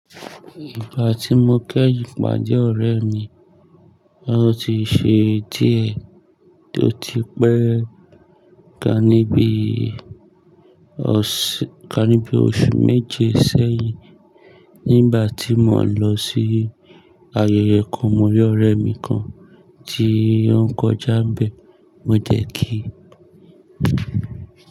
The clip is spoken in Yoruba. Ìgbà tí mo kéyin ìpàdé ọ̀rẹ́ mi, ó ti ṣe díẹ̀ tó ti pẹ́ ká níbi oṣù méje sẹ́yìn. Nígbà tí mò ń lọ sí ayẹyẹ kan, mo rí ọ̀rẹ́ mi kan tí ó ń kọjá ń bẹ, mo jẹ kí.